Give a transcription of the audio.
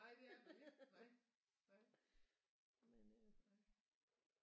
Nej det er der ikke nej nej nej